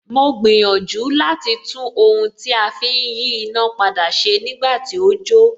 Mo gbìyànjú láti tún ohun tí a fi ń yí iná padà ṣe nígbà tí ó jó